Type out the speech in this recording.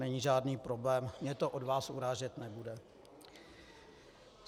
Není žádný problém, mě to od vás urážet nebude.